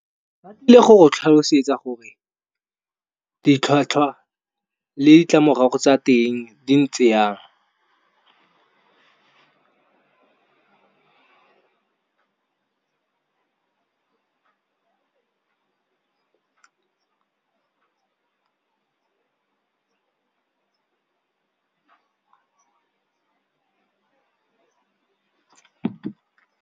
Ba tlile go tlhalosetsa gore, ditlhwatlhwa le ditlamorago tsa teng di ntse yang.